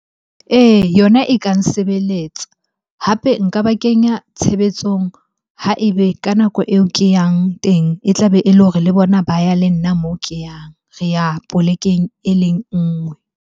Ee, yona e ka nsebeletsa hape nka ba kenya tshebetsong ha ebe ka nako eo ke yang teng e tlabe e le hore le bona ba ya le nna mo ke yang. Re ya polekeng e leng nngwe.